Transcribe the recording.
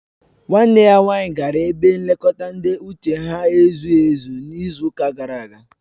Nwanne ya nwanyị gara ebe nlekọta ndị uche ha ezughị ezu n'izu ụka gara aga